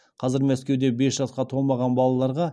қазір мәскеуде бес жасқа толмаған балаларға